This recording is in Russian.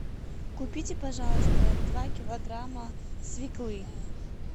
купите пожалуйста два килограмма свеклы